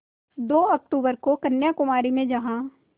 दो अक्तूबर को कन्याकुमारी में जहाँ